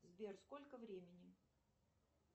сбер сколько времени